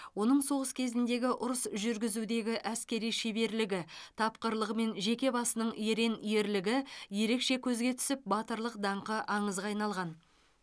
оның соғыс кезіндегі ұрыс жүргізудегі әскери шеберлігі тапқырлығы мен жеке басының ерен ерлігі ерекше көзге түсіп батырлық даңқы аңызға айналған